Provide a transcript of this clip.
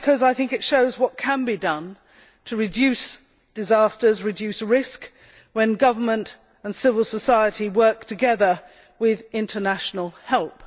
Well, because I think that it shows what can be done to reduce disasters and risks when government and civil society work together with international help.